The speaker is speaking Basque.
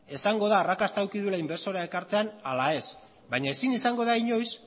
esango da arrakasta izan duela inbertsorea ekartzean ala ez baina ezin izango da inoiz